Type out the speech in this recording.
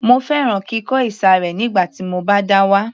Mo fẹ́ràn kíkọ ìsàré nígbà tí mo bá dá wà